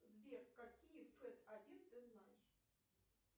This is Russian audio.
сбер какие фет один ты знаешь